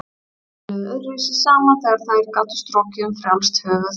Þær töluðu öðruvísi saman þegar þær gátu strokið um frjálst höfuð.